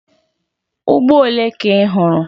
Ugbo ole ka ị hụrụ?